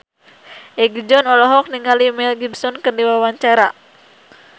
Egi John olohok ningali Mel Gibson keur diwawancara